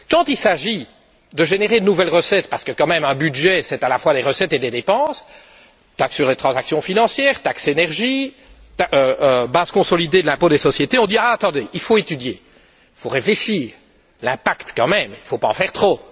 Quand il s'agit de générer de nouvelles recettes parce que quand même un budget c'est à la fois des recettes et des dépenses taxes sur les transactions financières, taxes sur l'énergie, base consolidée de l'impôt des sociétés, on dit attendez, il faut étudier, il faut réfléchir sur l'impact quand même, il ne faut pas en faire trop.